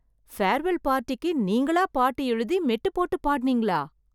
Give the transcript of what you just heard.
farewell பார்ட்டிக்கு நீங்களா பாட்டு எழுதி, மெட்டு போட்டு பாடுனீங்களா...